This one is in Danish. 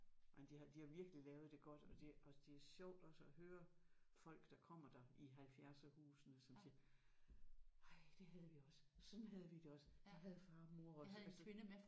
Men de har de har virkelig lavet det godt og det og det er sjovt også at høre folk der kommer der i halvfjerdserhusene som siger ej det havde vi også sådan havde vi det også det havde far og mor også altså